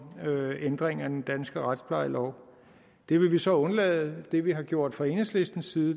ændringer i den danske retsplejelov det vil vi så undlade det vi har gjort fra enhedslistens side